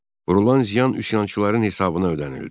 Vurulan ziyan üsyançıların hesabına ödənildi.